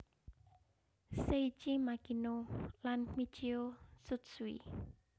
Seiichi Makino lan Michio Tsutsui